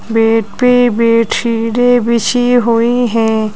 Bed पे बेडशीटे बिछी हुई हैं।